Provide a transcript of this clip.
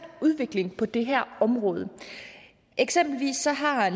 udvikling på det her område eksempelvis har